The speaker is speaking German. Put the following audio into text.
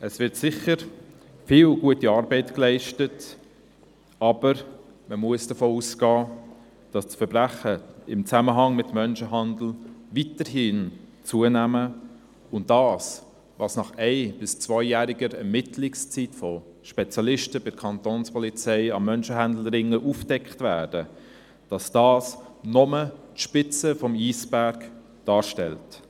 Es wird sicher viel gute Arbeit geleistet, aber man muss davon ausgehen, dass Verbrechen im Zusammenhang mit Menschenhandel weiterhin zunehmen und dass das, was nach ein- oder zweijähriger Ermittlungszeit von Spezialisten der Kantonspolizei an Menschenhandelringen aufgedeckt wird, nur die Spitze des Eisbergs darstellt.